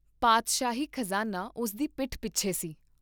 ਪਾਤਸ਼ਾਹੀ ਖਜ਼ਾਨਾ ਉਸ ਦੀ ਪਿੱਠ ਪਿੱਛੇ ਸੀ।